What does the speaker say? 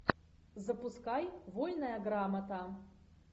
запускай вольная грамота